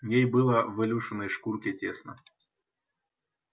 ей было в илюшиной шкурке тесно